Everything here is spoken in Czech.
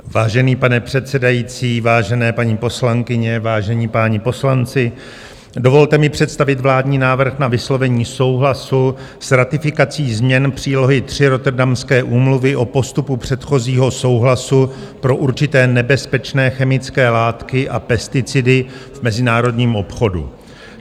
Vážený pane předsedající, vážené paní poslankyně, vážení páni poslanci, dovolte mi představit vládní návrh na vyslovení souhlasu s ratifikací změny přílohy III Rotterdamské úmluvy o postupu předchozího souhlasu pro určité nebezpečné chemické látky a pesticidy v mezinárodním obchodu.